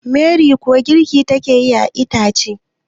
Meri kuwa girki take yi da ita ce